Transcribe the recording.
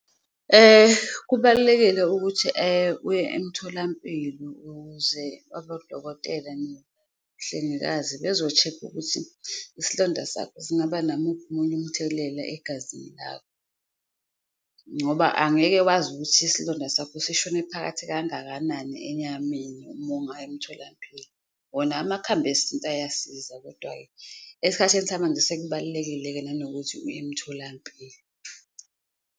Kubalulekile ukuthi uye emtholampilo ukuze abodokotela nemhlengikazi bezoshekha ukuthi isilonda sakho singaba namuphi omunye umthelela egazini lakho. Ngoba angeke wazi ukuthi isilonda sakho sishone phakathi kangakanani enyameni uma ungayi emtholampilo, wona amakhambi esintu ayasiza kodwa-ke esikhathini samanje sekubalulekile-ke nanokuthi uye emtholampilo.